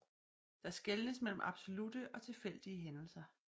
Der skelnes mellem absolutte og tilfældige hændelser